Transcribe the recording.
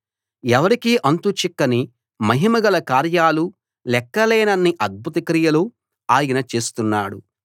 ఎవరికీ అంతు చిక్కని మహిమ గల కార్యాలు లెక్కలేనన్ని అద్భుత క్రియలు ఆయన చేస్తున్నాడు